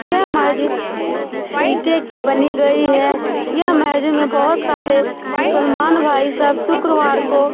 यह मस्जिद इटे की बनी गयी है। यह मस्जिद में बोहोत सारे मुस्लमान भाई सब शुक्रवार को--